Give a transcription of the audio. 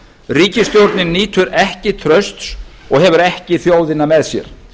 ríkisstjórnin nýtur ekki trausts og hefur ekki þjóðina með sér